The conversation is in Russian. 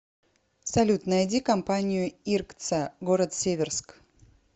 салют найди компанию иркца город северск